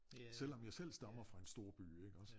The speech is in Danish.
Selvom jeg selv stammer fra en storby iggås